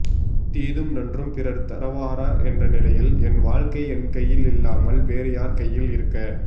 தீதும் நன்றும் பிறர் தரவாரா என்ற நிலையில் என் வாழ்க்கை என் கையிலில்லாமல் வேறு யார் கையில் இருக்க